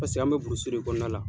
Paseke an be de kɔnɔna la.